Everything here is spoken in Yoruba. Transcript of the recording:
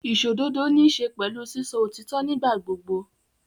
Ìsòdodo níṣe pẹ̀lú sísọ òtítọ́ nígbà gbogbo.